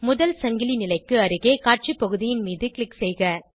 முதல் சங்கிலி நிலைக்கு அருகே காட்சி பகுதியின் மீது க்ளிக் செய்க